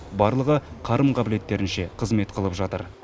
барлығы қарым қабілеттерінше қызмет қылып жатыр